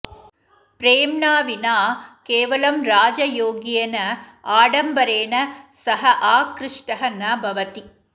प्रेम्णा विना केवलं राजयोग्येन आडम्बरेण सः आकृष्टः न भवति